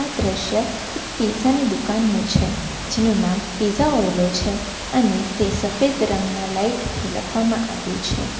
દ્રશ્ય એક પીઝાની દુકાનનો છે જેનું નામ પીઝાઓય્લો છે અને તે સફેદ રંગના લાઈટ થી લખવામાં આવ્યું છે.